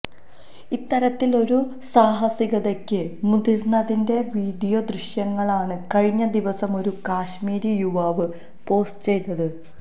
ഇത്തരത്തിലൊരു സാഹസികതയ്ക്ക് മുതിര്ന്നതിന്റെ വീഡിയോ ദൃശ്യങ്ങളാണ് കഴിഞ്ഞ ദിവസം ഒരു കശ്മീരി യുവാവ് പോസ്റ്റ് ചെയ്തത്